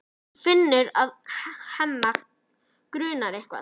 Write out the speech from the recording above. Hún finnur að Hemma grunar eitthvað.